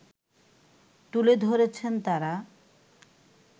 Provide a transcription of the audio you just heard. তুলে ধরেছেন তারা